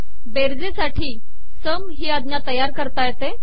बेरजेसाठी सम ही आजा तयार करता येते